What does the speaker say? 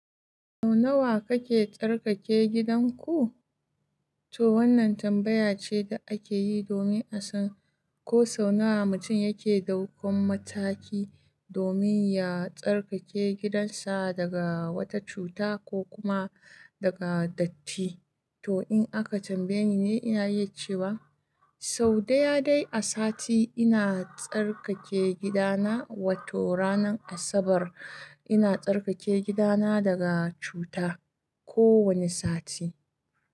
Sau nawa kake tsarkake gidanku? To wannan tambaya ce da ake yi domin a san ko sau nawa mutum yake ɗaukan mataki domin ya tsarkake gidansa daga wata cuta ko kuma daga datti. To in aka tambaye ni ne, ina iya cewa sau daya dai a sati ina tsarkake gidana, wato ranar Asabar ina tsarkake gidana daga cuta kowane sati.